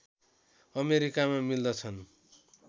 अमेरिकामा मिल्दछन्